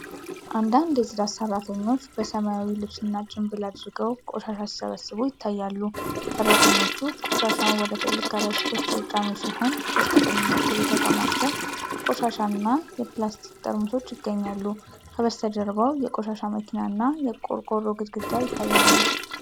አንዳንድ የጽዳት ሠራተኞች በሰማያዊ ልብስና ጭንብል አድርገው ቆሻሻ ሲሰበስቡ ይታያሉ። ሠራተኞቹ ቆሻሻውን ወደ ትላልቅ ከረጢቶች እየጫኑ ሲሆን፤ በስተቀኝ በኩል የተከማቸ ቆሻሻ እና የፕላስቲክ ጠርሙሶች ይገኛሉ። ከበስተጀርባው የቆሻሻ መኪና እና የቆርቆሮ ግድግዳዎች ይታያሉ።